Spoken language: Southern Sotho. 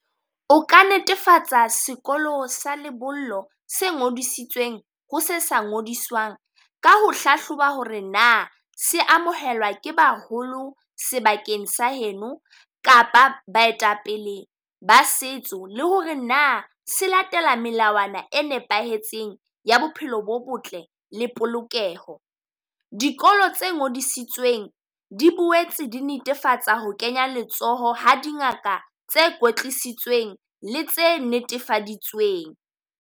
O ka netefatsa sekolo sa lebollo se ngodisitsweng ho se sa ngodiswang, ka ho hlahloba ho re na se amohelwa ke baholo sebakeng sa heno kapa baetapele ba setso. Le ho re na se latela melawana e nepahetseng ya bophelo bo botle le polokeho. Dikolo tse ngodisitsweng di boetse di netefatsa ho kenya letsoho ha dingaka tse kwetlisitsweng le tse netefaditsweng.